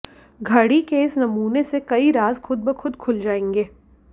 घड़ी के इस नमूने से कई राज खुद ब खुद खुल जाएंगे